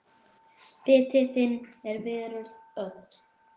Biti þinn er veröld öll.